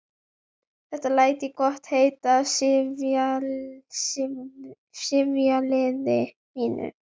Þetta læt ég gott heita af sifjaliði mínu.